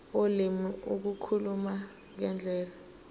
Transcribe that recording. ulimi ukukhuluma ngendlela